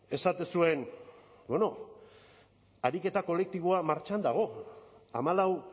esaten zuen bueno ariketa kolektiboa martxan dago hamalau